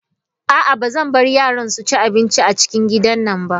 A'a bazan bar yaran su ci abinci a cikin gidan nan ba.